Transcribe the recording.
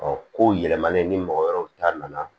ko yɛlɛmani ni mɔgɔ wɛrɛw ta nana